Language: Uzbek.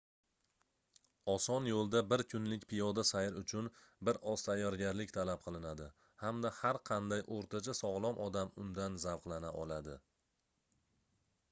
oson yoʻlda bir kunlik piyoda sayr uchun bir oz tayyorgarlik talab qilinadi hamda har qanday oʻrtacha sogʻlom odam undan zavqlana oladi